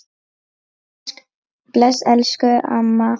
Bless elsku amma.